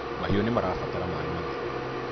mahiũ nĩmarabatara maĩ matheru